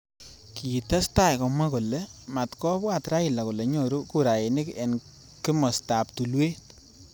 Kitestai komwa kole matkobwat Raila kole nyoru kurainik eng kimosta ab tulwet.